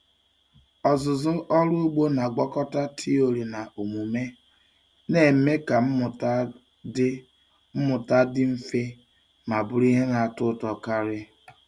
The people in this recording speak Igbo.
Ọzụzụ ọrụ ugbo na-agwakọta tiori na omume, na-eme ka mmụta dị mmụta dị mfe ma bụrụ ihe na-atọ ụtọ karị.